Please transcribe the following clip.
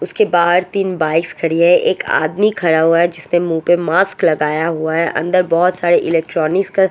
उसके बहार तीन बाइक्स खड़ी है। एक आदमी खड़ा हुआ है जिसने मुह्ह पर लगाया हुआ है अनदर बोहोत सारे इलेक्ट्रोनिक्स का--